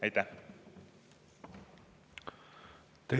Aitäh!